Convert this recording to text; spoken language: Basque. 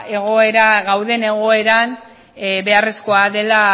gauden egoeran beharrezkoa dela